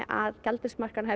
að gjaldeyrismarkaðurinn